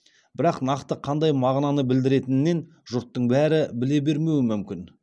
бірақ нақты қандай мағынаны білдіретінен жұрттың бәрі біле бермеуі мүмкін